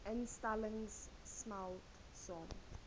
instellings smelt saam